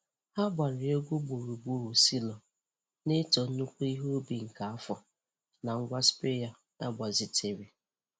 Ha gbaara egwu gburugburu silo, na-eto nnukwu ihe ubi nke afọ na ngwa sprayer e gbazitere.